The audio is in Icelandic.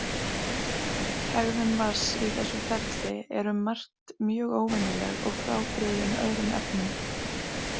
Hegðun vatns í þessu ferli er um margt mjög óvenjuleg og frábrugðin öðrum efnum.